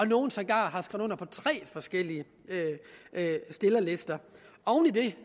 nogle sågar har skrevet under på tre forskellige stillerlister oven i det